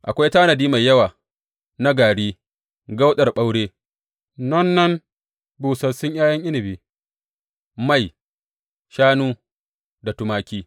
Akwai tanadin mai yawa na gari, kauɗar ɓaure, nonnan busassun ’ya’yan inabi, ruwan inabi, mai, shanu da tumaki.